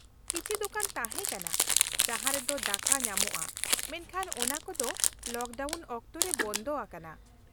ᱠᱤᱪᱷᱤ ᱫᱳᱠᱟᱱ ᱛᱟᱦᱮᱸ ᱠᱟᱱᱟ ᱡᱟᱦᱟᱸ ᱨᱮᱫᱚ ᱫᱟᱠᱟ ᱧᱟᱢᱚᱜᱼᱟ, ᱢᱮᱱᱠᱷᱟᱱ ᱚᱱᱟᱠᱚᱫᱚ ᱞᱚᱠᱰᱟᱣᱩᱱ ᱚᱠᱛᱚ ᱨᱮ ᱵᱚᱱᱫᱚ ᱟᱠᱟᱱᱟ ᱾